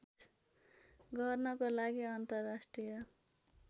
गर्नको लागि अन्तर्राष्ट्रिय